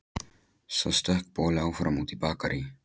Svo stökk boli áfram út í Bakarí.